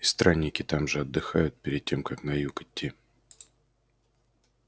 и странники там же отдыхают перед тем как на юг идти